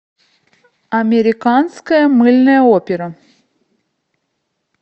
американская мыльная опера